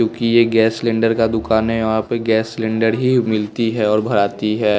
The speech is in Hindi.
क्योंकि ये गैस सिलेंडर का दुकान है वहाँ पे गैस सिलेंडर ही मिलती है और भराती है।